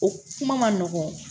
O kuma ma nɔgɔn